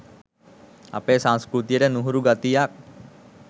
අපේ සංස්කෘතියට නුහුරු ගතියක්